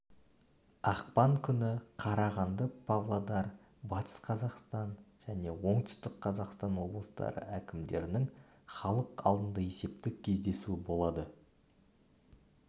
ақпан күні қарағанды павлодар батыс қазақстан және оңтүстік қазақстан облыстары әкімдерінің халық алдында есептік кездесуі болады